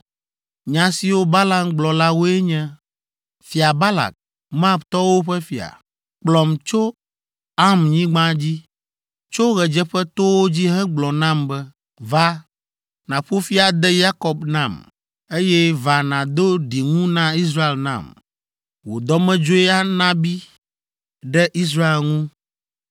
Nya siwo Balaam gblɔ la woe nye: “Fia Balak, Moabtɔwo ƒe fia, kplɔm tso Aramnyigba dzi, tso ɣedzeƒetowo dzi hegblɔ nam be. ‘Va, nàƒo fi ade Yakob nam! Eye va nàdo ɖiŋu na Israel nam. Wò dɔmedzoe nabi ɖe Israel ŋu.’